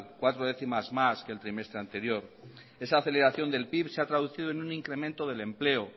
cuatro décimas más que el trimestre anterior esa aceleración del pib se ha traducido en un incremento del empleo